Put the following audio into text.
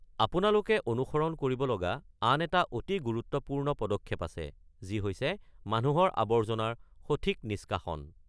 আপোনালোকে অনুসৰণ কৰিব লগা আন এটা অতি গুৰুত্বপূৰ্ণ পদক্ষেপ আছে, যি হৈছে মানুহৰ আৱৰ্জনাৰ সঠিক নিষ্কাশন।